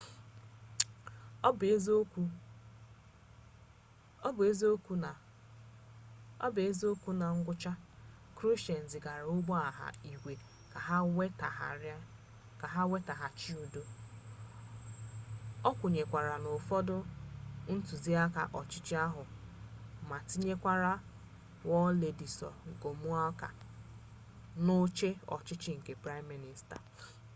ọ bụ eziokwu na na ngwụcha krushchev zigara ụgbọ agha igwe ka ha wetaghachi udo okwenyekwara na ụfọdụ ntuziaka ọchịchọ akụ ma tinyekwa wladyslaw gomulka n'oche ọchịchị nke praịm minista